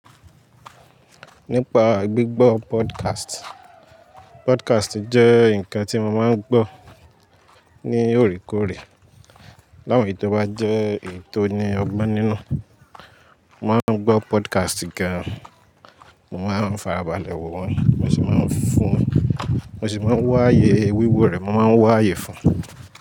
Nípa gbígbọ́ podcast, podcast jẹ́ ǹkan tí mo máa ń gbọ́ ní òrèkóòrè. Láwọn èyí tó bá jẹ́ èyí tó ní ọgbọ́n nínú, mo máa ń gbọ́ podcast gan-an, mo máa ń farabalẹ̀ wowọn, mo sì máa ń fún, mo sì máa ń wáaye wíwo rẹ̀, mo máa ń wáaye fún un.